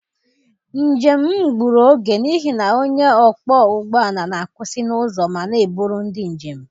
Njem m egburu oge n'ihi na onye ọkpọ ụgbọala na-akwụsị n'ụzọ ma na-eburu ndị njem.